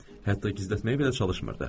Hətta gizlətməyə belə çalışmırdı.